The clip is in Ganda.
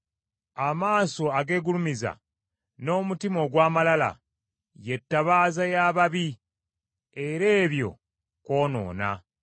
Amaaso ageegulumiza, n’omutima ogw’amalala, ye ttabaaza y’ababi, era ebyo kwonoona.